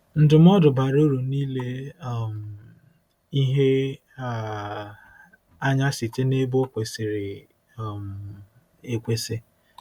Ndụmọdụ bara uru n'ile um ihe um anya Site n'Ebe Ọ Kwesịrị um Ekwesị